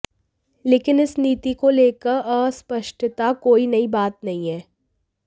लेकिन इस नीति को लेकर अस्पष्टता कोई नहीं बात नहीं है